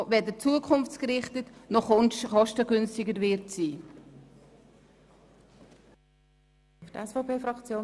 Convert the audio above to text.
Diese ist weder zukunftsgerichtet, noch wird sie kostengünstiger sein.